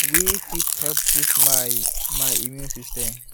wey fit help boost my my immune system